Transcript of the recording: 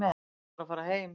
Vill bara fara heim.